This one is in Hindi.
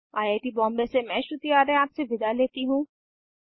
आई आई टी बॉम्बे से मैं श्रुति आर्य आपसे विदा लेती हूँ